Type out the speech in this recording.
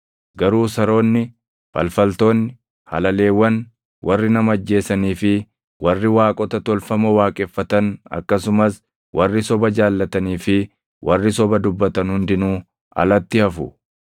Garuu saroonni, falfaltoonni, halaleewwan, warri nama ajjeesanii fi warri waaqota tolfamoo waaqeffatan akkasumas warri soba jaallatanii fi warri soba dubbatan hundinuu alatti hafu.